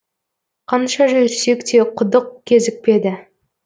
қанша жүрсек те құдық кезікпеді